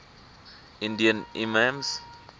indian imams